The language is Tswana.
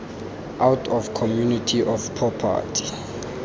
out of community of property